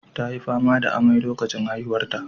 Ta yi fama da amai lokacin haihuwarta.